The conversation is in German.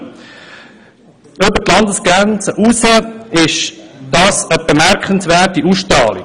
Es habe über die Landesgrenzen hinaus eine bemerkenswerte Ausstrahlung.